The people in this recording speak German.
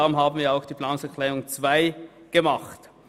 Deshalb haben wir auch den Abänderungsantrag 2 eingereicht.